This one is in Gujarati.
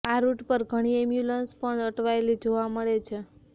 આ રૂટ પર ઘણી એમ્બ્યુલન્સ પણ અટવાયેલી જોવા મળે છે